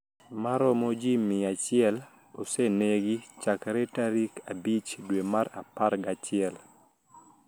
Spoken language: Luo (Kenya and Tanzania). Maromo ji mia achiel osenegi chakre tarik abich dwe mar apar gachiel